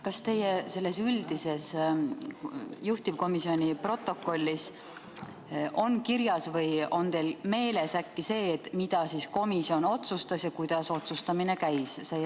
Kas teie selles üldises juhtivkomisjoni protokollis on kirjas või on teil äkki meeles, mida komisjon otsustas ja kuidas otsustamine käis?